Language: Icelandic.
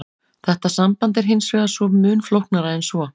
Þetta samband er hins vegar mun flóknara en svo.